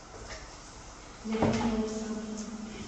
вероника александровна